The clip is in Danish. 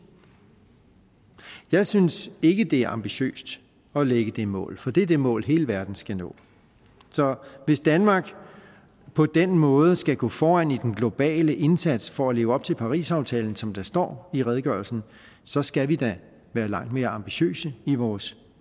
jeg synes ikke det er ambitiøst at lægge det mål for det er det mål som hele verden skal nå så hvis danmark på den måde skal gå foran i den globale indsats for at leve op til parisaftalen som der står i redegørelsen så skal vi da være langt mere ambitiøse i vores